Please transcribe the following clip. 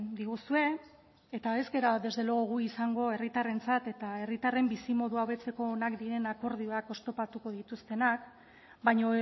diguzue eta ez gara desde luego gu izango herritarrentzat eta herritarren bizimodua hobetzeko onak diren akordioak oztopatuko dituztenak baina